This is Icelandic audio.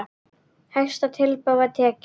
Hæsta tilboði var tekið.